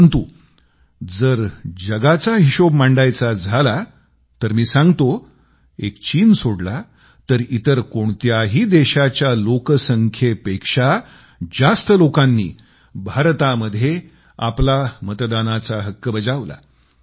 परंतु जर जगाचा हिशेब मांडायचा झाला तर मी सांगतो एक चीन सोडला तर इतर कोणत्याही देशाच्या लोकसंख्येपेक्षा जास्त लोकांनी भारतामध्ये आपला मतदानाचा हक्क बजावला